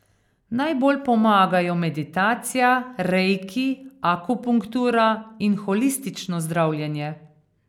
Najbolj pomagajo meditacija, reiki, akupunktura in holistično zdravljenje.